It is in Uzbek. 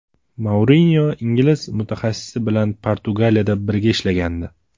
Mourinyo ingliz mutaxassisi bilan Portugaliyada birga ishlagandi.